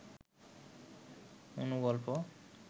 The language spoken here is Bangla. অনুগল্প